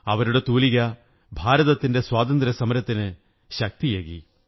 അവരുടെ തൂലിക ഭാരതത്തിന്റെ സ്വാതന്ത്ര്യസമരത്തിനു ശക്തിയേകി